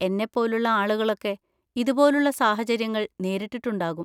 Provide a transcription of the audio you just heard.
എന്നെപ്പോലുള്ള ആളുകളൊക്കെ ഇതുപോലുള്ള സാഹചര്യങ്ങൾ നേരിട്ടിട്ടുണ്ടാകും.